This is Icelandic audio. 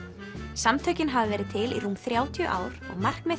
samtökin hafa verið til í rúm þrjátíu ár og markmið